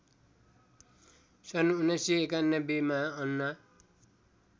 १९९१ मा अन्ना